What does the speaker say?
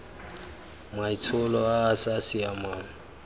maitsholo a a sa siamang